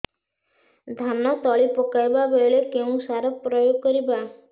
ଧାନ ତଳି ପକାଇବା ବେଳେ କେଉଁ ସାର ପ୍ରୟୋଗ କରିବା